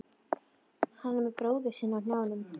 Hann með bróður sinn á hnjánum.